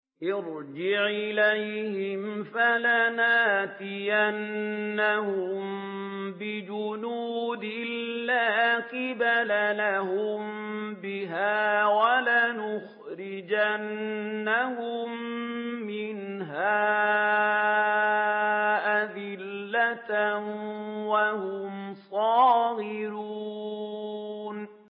ارْجِعْ إِلَيْهِمْ فَلَنَأْتِيَنَّهُم بِجُنُودٍ لَّا قِبَلَ لَهُم بِهَا وَلَنُخْرِجَنَّهُم مِّنْهَا أَذِلَّةً وَهُمْ صَاغِرُونَ